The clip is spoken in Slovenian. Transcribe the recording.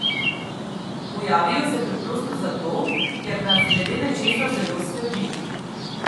Pojavijo se preprosto zato, ker nas glede nečesa zelo skrbi.